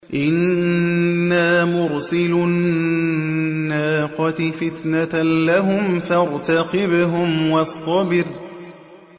إِنَّا مُرْسِلُو النَّاقَةِ فِتْنَةً لَّهُمْ فَارْتَقِبْهُمْ وَاصْطَبِرْ